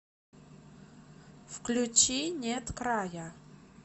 включи нет края